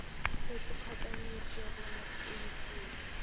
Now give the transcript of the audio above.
ekuphakanyiswa bona uyifunde